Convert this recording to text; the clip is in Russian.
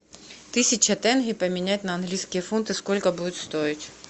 тысяча тенге поменять на английские фунты сколько будет стоить